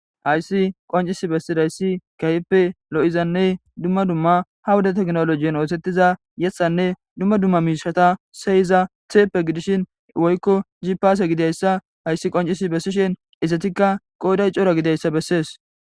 Hayssi qoncisi bessidayssi kahipe lo7izanne dumma dumma ha wuda teknolojen oosettiza yethanne dumma dumma miishata seyiza theeppe gidishin woykko jipaase gidayssa hayssi qoncis bessishin izatikka qooday cora gidayssa bessees.